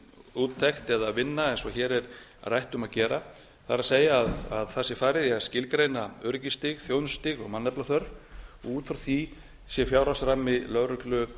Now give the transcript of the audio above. úttekt eða vinna eins og hér er rætt um að gera það er að það sé farið í að skilgreina öryggisstig þjónustustig og mannaflaþörf og út frá því sé fjárhagsrammi lögreglu